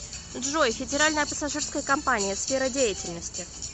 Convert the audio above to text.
джой федеральная пассажирская компания сфера деятельности